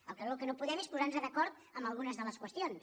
el que no podem és posarnos d’acord en algunes de les qüestions